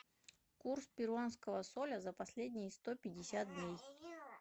курс перуанского соля за последние сто пятьдесят дней